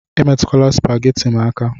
Emetukwala supagheti m aka